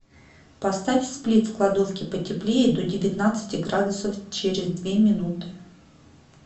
поставь сплит в кладовке потеплее до девятнадцати градусов через две минуты